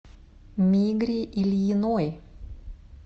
мигре ильиной